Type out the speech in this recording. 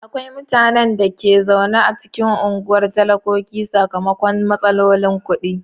Akwai mutanen da ke zaune a cikin unguwar talakoki sakamakon matsalolin kudi.